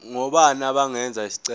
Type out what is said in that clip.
ngobani abangenza isicelo